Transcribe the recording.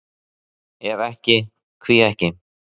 Ef ekki, hví ekki?